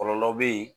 Kɔlɔlɔ bɛ yen